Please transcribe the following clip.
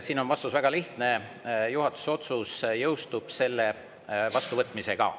Siin on vastus väga lihtne: juhatuse otsus jõustub selle vastuvõtmisega.